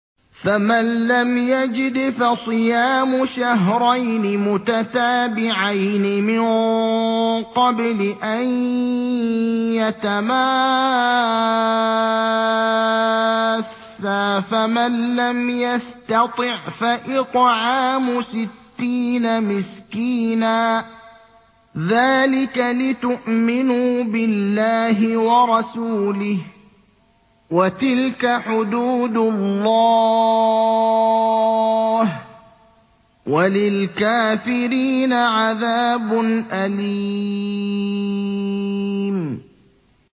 فَمَن لَّمْ يَجِدْ فَصِيَامُ شَهْرَيْنِ مُتَتَابِعَيْنِ مِن قَبْلِ أَن يَتَمَاسَّا ۖ فَمَن لَّمْ يَسْتَطِعْ فَإِطْعَامُ سِتِّينَ مِسْكِينًا ۚ ذَٰلِكَ لِتُؤْمِنُوا بِاللَّهِ وَرَسُولِهِ ۚ وَتِلْكَ حُدُودُ اللَّهِ ۗ وَلِلْكَافِرِينَ عَذَابٌ أَلِيمٌ